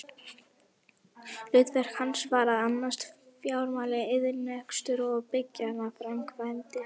Hlutverk hans var að annast fjármál, iðnrekstur og byggingaframkvæmdir.